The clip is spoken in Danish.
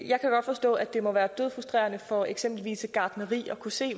godt forstå at det må være dødfrustrerende for eksempelvis et gartneri at kunne se at